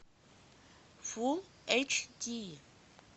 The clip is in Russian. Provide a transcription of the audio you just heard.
фулл эйч ди